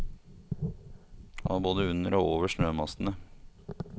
Han var både under og over snømassene.